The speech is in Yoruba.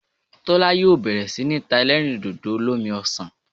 Tólá yóò bèrè sí ní ta elérìndòdò olómi osàn